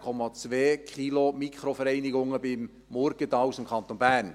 Pro Tag gehen 16,2 Kilogramm Mikroverunreinigungen bei Murgenthal aus dem Kanton Bern.